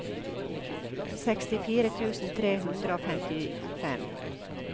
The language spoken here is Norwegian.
sekstifire tusen tre hundre og femtifem